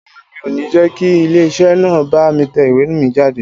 Rárá, mi ò ní jẹ́ kí ilé iṣẹ́ náà bá mi tẹ ìwé mi jáde